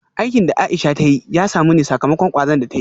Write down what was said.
Aikin da Aisha ta yi ya samu ne sakamakon kwazon da ta yi